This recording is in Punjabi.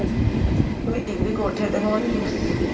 Meeting ਵੀ ਕੋਠੇ ਤੇ ਹੋਣੀ ਏ।